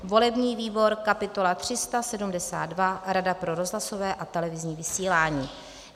volební výbor kapitola 372 - Rada pro rozhlasové a televizní vysílání;